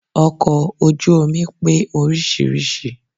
Ọkọ̀ ojú omi pé oríṣiríṣi